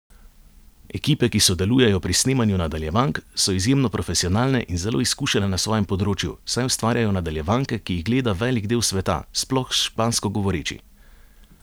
Ekipe, ki sodelujejo pri snemanju nadaljevank, so izjemno profesionalne in zelo izkušene na svojem področju, saj ustvarjajo nadaljevanke, ki jih gleda velik del sveta, sploh špansko govoreči.